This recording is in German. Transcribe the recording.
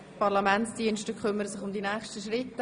Die Parlamentsdienste kümmern sich um die nächsten Schritte.